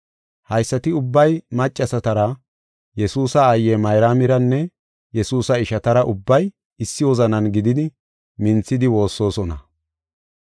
Haysati ubbay maccasatara, Yesuusa aaye Mayraamiranne Yesuusa ishatara ubbay issi wozanan gididi minthidi woossosona.